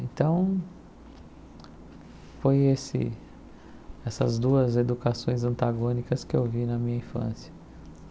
Então, foi esse essas duas educações antagônicas que eu vi na minha infância.